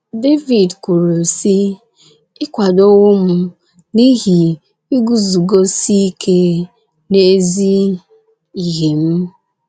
Devid kwuru sị: “ Ị kwadowo m n’ihi iguzosi ike n’ezi ihe m. ”